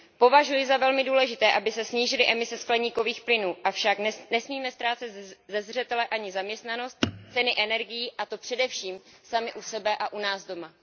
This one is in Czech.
Považuji za velmi důležité, aby se snížily emise skleníkových plynů, avšak nesmíme ztrácet ze zřetele ani zaměstnanost, ceny energií a to především sami u sebe a u nás doma.